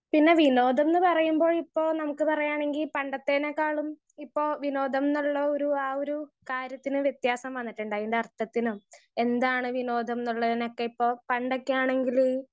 speaker 1 പിന്നെ വിനോദം ന്ന് പറയുമ്പോ ഇപ്പൊ നമ്മുക്ക് പറയാണെങ്കി പണ്ടത്തേനെക്കാളും ഇപ്പൊ വിനോദം ന്ന് ഉള്ള ഒരു ആ ഒരു കാര്യത്തിന് വെത്യാസം വന്നിട്ടുണ്ട് അയിന്റെ അർത്ഥത്തിനും എന്താണ് വിനോദം എന്നുള്ളതിനൊക്കെ ഇപ്പൊ പണ്ടൊക്കെയാണെങ്കിൽ